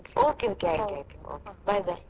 Okay, okay, okay okay bye, bye.